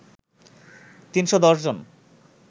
৩১০ জন